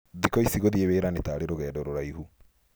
Thikũ ici, gũthiĩ wĩra nĩ ta arĩ rũgendo rũraihu.